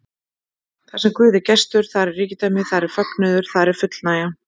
Þarsem Guð er gestur, þar er ríkidæmi, þar er fögnuður, þar er fullnægja.